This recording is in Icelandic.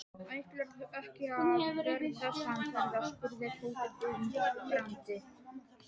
Ætlarðu ekki að verða samferða? spurði Tóti undrandi.